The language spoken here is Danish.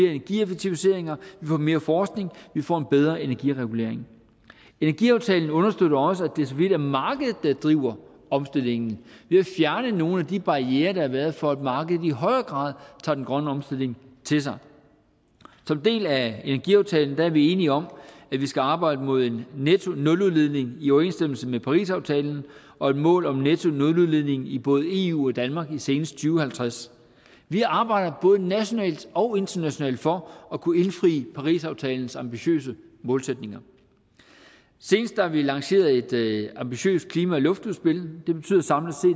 får mere forskning vi får en bedre energiregulering energiaftalen understøtter også at det så vidt muligt er markedet der driver omstillingen ved at fjerne nogle af de barrierer der har været for at markedet i højere grad tager den grønne omstilling til sig som en del af energiaftalen er vi enige om at vi skal arbejde mod en nettonuludledning i overensstemmelse med parisaftalen og et mål om en nettonuludledning i både eu og danmark senest i to tusind og halvtreds vi arbejder både nationalt og internationalt for at kunne indfri parisaftalens ambitiøse målsætninger senest har vi lanceret et ambitiøst klima og luftudspil